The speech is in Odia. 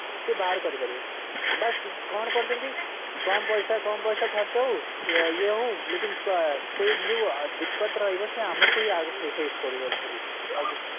ସେ ବାହାର କରିପାରିବେ ବାସ କଣ କରିଛନ୍ତି କମ ପଇସା କମ ପଇସା ଖର୍ଚ ହଉ ଇଏ ହଉ ସେ ଯୋଉ ରହିବ ସେ ଆମକୁ ଇଁ ଆଗ face କରିବାକୁ ପଡୁଛି ଆଉକିଛି ନାହିଁ